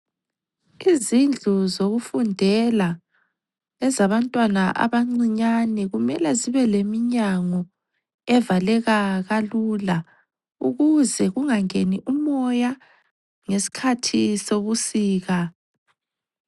Izindlu zokufundela ezabantwana abancinyane kumele zibe leminyango evaleka kalula ukuze kungangeni umoya ngesikhathi sebusika.